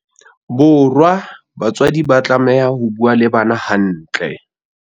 Bo rwa, batswadi ba tlameha ho bua le bana hantle.